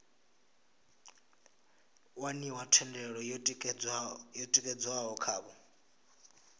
waniwa thendelo yo tikedzwaho khavho